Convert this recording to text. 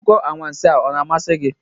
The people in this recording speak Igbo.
Akụkọ anwansi ọ na-amasị gị?